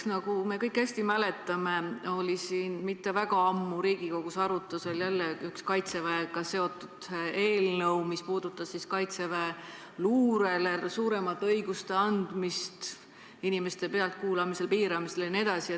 Nagu me kõik hästi mäletame, Riigikogus oli üsna hiljuti arutusel üks Kaitseväega seotud eelnõu, mis puudutas kaitseväeluurele suuremate õiguste andmist, inimeste pealtkuulamist jne.